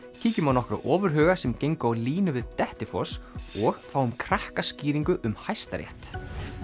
kíkjum á nokkra ofurhuga sem gengu á línu við Dettifoss og fáum Krakkaskýringu um Hæstarétt